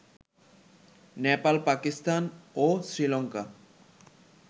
Nepal, Pakistan ও Sri Lanka